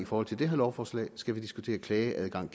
forhold til det her lovforslag skal vi generelt diskutere klageadgang